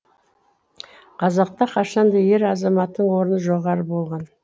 қазақта қашанда ер азаматтың орны жоғары болған